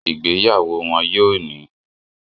Ìgbéyàwó wọ́n yóò ní